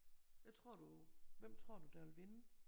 Hvad tror du hvem tror du der vil vinde?